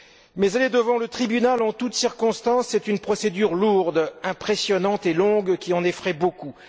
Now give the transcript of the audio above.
Mais aller devant le tribunal en toutes circonstances est une procédure lourde, impressionnante et longue qui en effraie beaucoup.